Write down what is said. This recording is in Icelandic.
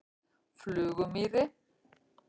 Flugumýri